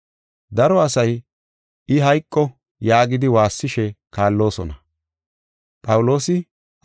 Daro asay, “I hayqo!” yaagidi waassishe kaalloosona.